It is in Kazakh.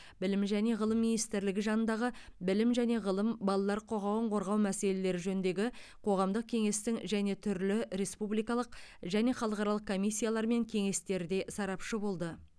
білім және ғылым министрлігі жанындағы білім және ғылым балалар құқығын қорғау мәселелері жөніндегі қоғамдық кеңестің және түрлі республикалық және халықаралық комиссиялар мен кеңестерде сарапшы болды